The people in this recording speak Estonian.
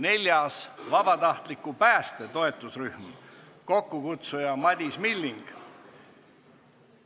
Neljandaks, vabatahtliku pääste toetusrühm, kokkukutsuja on Madis Milling.